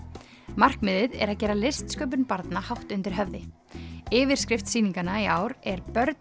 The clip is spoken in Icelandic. markmiðið er að gera listsköpun barna hátt undir höfði yfirskrift sýninganna í ár er börn